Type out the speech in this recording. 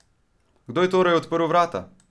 Kdo je torej odprl vrata?